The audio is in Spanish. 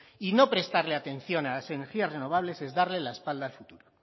y no prestarle a las energía renovables es darle la espalda al futuro